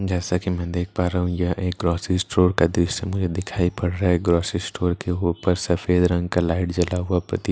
जैसा कि मैं देख पा रहा हूं यह एक ग्रॉसरी स्टोर का दृश्य मुझे दिखाई पड़ रहा है ग्रॉसरी स्टोर के ऊपर सफेद रंग का लाइट जला हुआ प्रतीत हो रहा है।